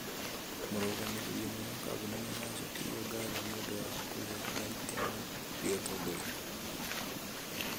Mũrũgamĩrĩri ũmwe wa kambuni nĩ aracokerio ngatho nĩ ũndũ wa kũgĩa na itemi rĩa ũtongoria.